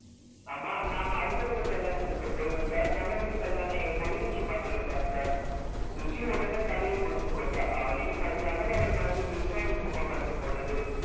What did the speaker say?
அம்மா நாம அடுத்த வீட்டு கல்யாணத்திற்கு போய் வந்தால் நம்ம வீட்டு கல்யாணம் எப்போது என்று மகளைப் பார்த்தார் சுஜி உடனே தலையை குனிந்து கொண்டா அவளையும் அறியாமல் அவள் மனதில் விஷ்வாவின் முகம் வந்து போனது